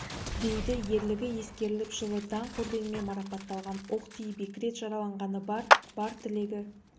дейді ерлігі ескеріліп жылы даңқ орденімен марапатталған оқ тиіп екі рет жараланғаны бар бар тілегі